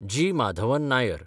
जी. माधवन नायर